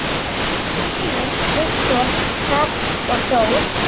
Synir: Viktor Hrafn og Þór.